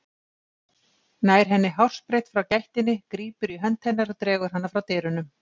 Nær henni hársbreidd frá gættinni, grípur í hönd hennar og dregur hana frá dyrunum.